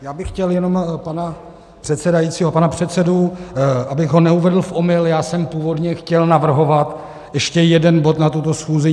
Já bych chtěl jenom pana předsedajícího, pana předsedu, abych ho neuvedl v omyl, já jsem původně chtěl navrhovat ještě jeden bod na tuto schůzi.